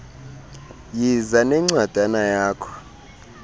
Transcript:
yiza nencwadana yakho